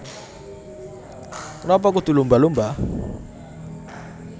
Kenapa Kudu Lumba Lumba